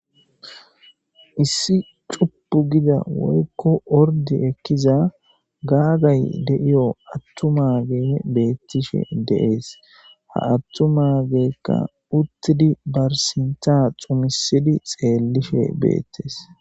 issi cuuppu gida woykko ordi ekkiza gaagay de7iyo attumage beettishe deees ha attu mageekka uttidi bar sinta xumisidi xeellishe beettees